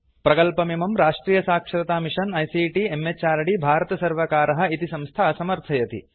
इमं प्रकल्पं राष्ट्रीयसाक्षरतामिषन् आईसीटी म्हृद् भारत सर्वर्कारः इति संस्था समर्थयति